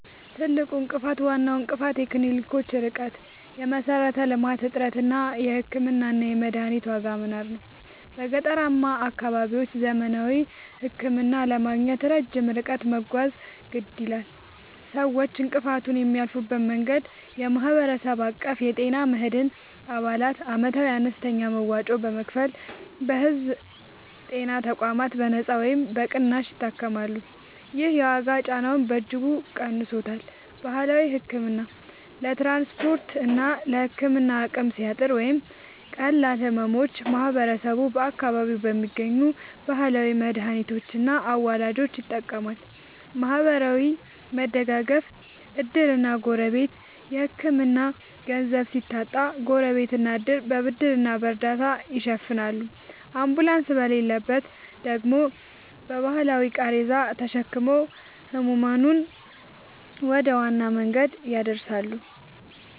ትልቁ እንቅፋት፦ ዋናው እንቅፋት የክሊኒኮች ርቀት (የመሠረተ-ልማት እጥረት) እና የሕክምናና የመድኃኒት ዋጋ መናር ነው። በገጠራማ አካባቢዎች ዘመናዊ ሕክምና ለማግኘት ረጅም ርቀት መጓዝ የግድ ይላል። ሰዎች እንቅፋቱን የሚያልፉበት መንገድ፦ የማህበረሰብ አቀፍ የጤና መድን፦ አባላት ዓመታዊ አነስተኛ መዋጮ በመክፈል በሕዝብ ጤና ተቋማት በነጻ ወይም በቅናሽ ይታከማሉ። ይህ የዋጋ ጫናውን በእጅጉ ቀንሶታል። ባህላዊ ሕክምና፦ ለትራንስፖርትና ለሕክምና አቅም ሲያጥር ወይም ለቀላል ሕመሞች ማህበረሰቡ በአካባቢው በሚገኙ ባህላዊ መድኃኒቶችና አዋላጆች ይጠቀማል። ማህበራዊ መደጋገፍ (ዕድርና ጎረቤት)፦ የሕክምና ገንዘብ ሲታጣ ጎረቤትና ዕድር በብድርና በእርዳታ ይሸፍናሉ፤ አምቡላንስ በሌለበት ደግሞ በባህላዊ ቃሬዛ ተሸክመው ሕሙማንን ወደ ዋና መንገድ ያደርሳሉ።